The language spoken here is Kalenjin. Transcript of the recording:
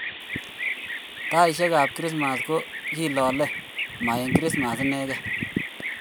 Taeshek ab krismas ko kilale ma eng krismas